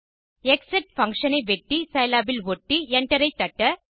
க்ஸெட் function ஐ வெட்டி சிலாப் இல் ஒட்டி enter ஐ தட்ட